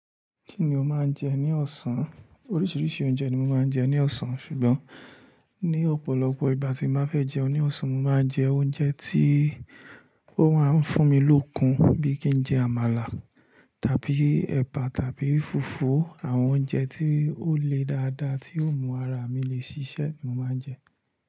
Kí ni o máa ń jẹ ní ọ̀sán? Oríṣiríṣi oúnjẹ ni mo máa ń jẹ ní ọ̀sán ṣùgbọ́n ní ọ̀pọ̀lọpọ̀ ìgbà tí mo bá fẹ́ jẹun ní ọ̀sán, mo máa jẹ oúnjẹ tí ó máa ń fún mi lókun bíi kí n jẹ àmàlà tàbí ẹ̀bà tàbí fùfú. Àwọn oúnjẹ tí ó le dáadáa tí ó mú ara mi le ṣiṣẹ́ ni mo máa ń jẹ.